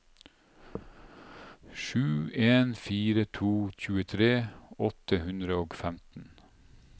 sju en fire to tjuetre åtte hundre og femten